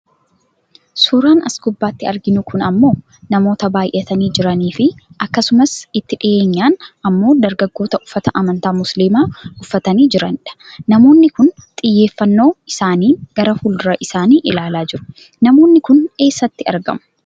Suuraan as gubbaatti arginu kun ammoo namoota baayyatanii jiraniifi akkasumas itti dhiyeenyaan ammoo dargaggoota uffata amantaa musliimaa uffatanii jiranidha. Namoonni kun xiyyeeffannoo isaaniin gara fuuldura isaanii ilaalaa jiru. Namoonni kun eessatti argamu?